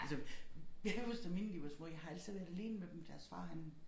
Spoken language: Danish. Altså jeg kan huske da mine de var små jeg har altid været alene med dem deres far han